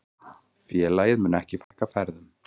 Félagið muni ekki fækka ferðum.